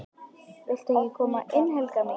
VILTU EKKI KOMA INN, HELGA MÍN!